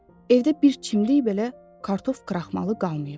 Evdə bir çimdik belə kartof kraxmalı qalmayıb.